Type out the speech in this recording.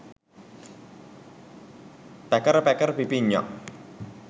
පැකර පැකර පිපිඤ්ඤා